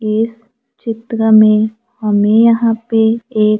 ये चित्र में हमें यहां पर एक--